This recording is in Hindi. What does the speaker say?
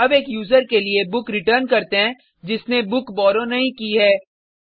अब एक यूजर के लिए बुक रिटर्न करते हैं जिसने बुक बॉरो नहीं की है